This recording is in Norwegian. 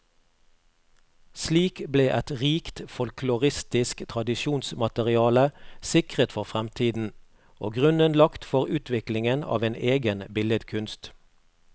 Slik ble et rikt folkloristisk tradisjonsmateriale sikret for fremtiden, og grunnen lagt for utviklingen av en egen billedkunst.